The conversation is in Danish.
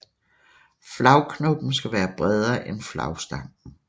Flagknoppen skal være bredere end flagstangen